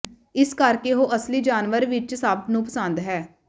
ਇਸ ਕਰਕੇ ਉਹ ਅਸਲੀ ਜਾਨਵਰ ਵਿੱਚ ਸਭ ਨੂੰ ਪਸੰਦ ਹੈ